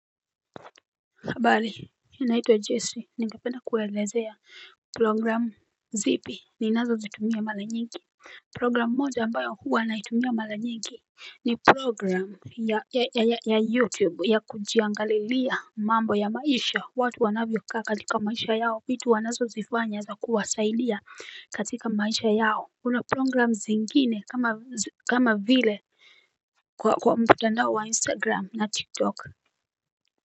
Kabali, naitwa Jesse, ningikependa kuwaelezea program zipi ninazo zitumia mala nyingi program moja ambayo huwa naitumia mala nyingi ni program ya YouTube ya kujiangalilia mambo ya maisha, watu wanavyokaa katika maisha yao, vitu wanazo zifanya za kuwasaidia katika maisha yao Kuna program zingine kama vile kwa mtandao wa Instagram na TikTok talk.